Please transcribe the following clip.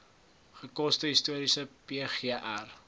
gekose historiese pgr